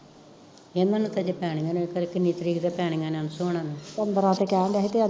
ਇਹਨਾਂ ਨੂੰ ਤੇ ਅਜੇ ਪੈਨੀਆ ਨੇ ਖਰੇ ਕਿੰਨੀ ਤਰੀਕ ਤੋਂ ਪੈਨੀਆ ਅਨਸ਼ੂ ਹੁਣਾ ਨੂੰ